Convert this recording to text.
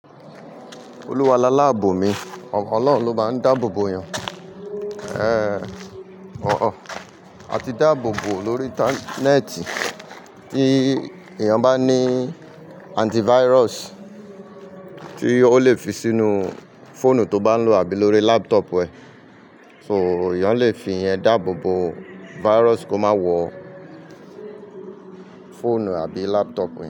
Olúwa lá láàbò mi, ọ̀kan Ọlọ́run ló máa ń dáàbò bo èèyàn. A ti dáàbò bo lórí intànéẹ̀tì. Tí èèyàn bá ní antivirus tí ó lè fi sínú fóònù tó bá lò àbí lórí laptop ẹ, so èèyàn lè fi yẹn dáàbò bo, virus kó má wọ fóònù àbí laptop yẹn.